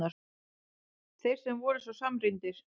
Þeir sem voru svo samrýndir!